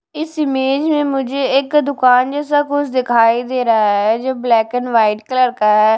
इस इमेज में मुझे एक दुकान जैसा कुछ दिखाई दे रहा है जो ब्लैक एंड व्हाइट कलर का है।